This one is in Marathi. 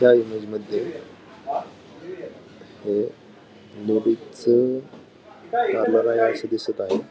त्या इमेज मध्ये हे दोघेच असं दिसत आहेत.